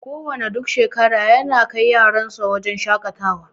Kuwa na duk shekara yana kai yaran sa wuraren shaƙatawa.